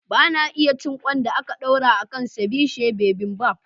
Ba na iya cin ƙwan da ake ɗorawa a kan "ceviche bibimbap".